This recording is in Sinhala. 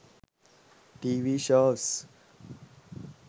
tv shows